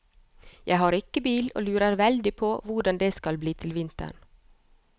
Jeg har ikke bil og lurer veldig på hvordan det skal bli til vinteren.